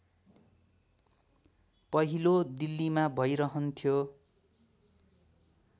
पहिलो दिल्लीमा भइरहन्थ्यो